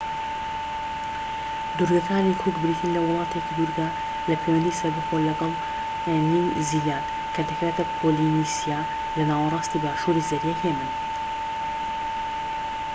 دوورگەکانی کوک بریتین لە وڵاتێکی دوورگە لە پەیوەندی سەربەخۆ لەگەڵ نیو زیلاند کە دەکەوێتە پۆلینیسیا لە ناوەراستی باشوری زەریای هێمن